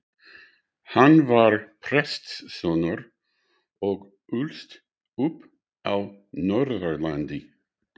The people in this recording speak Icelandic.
Hann var prestssonur og ólst upp á Norðurlandi.